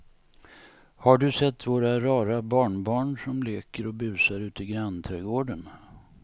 Har du sett våra rara barnbarn som leker och busar ute i grannträdgården!